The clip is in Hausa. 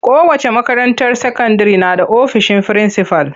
Kowace makaranta sakandire na da ofisin frinsifal.